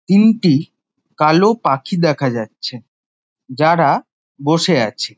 তিনটি কালো পাখি দেখা যাচ্ছে যারা বসে আছে।